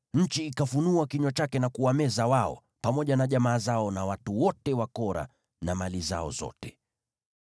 nchi ikafunua kinywa chake na kuwameza wao, pamoja na jamaa zao, na watu wote wa Kora na mali zao zote.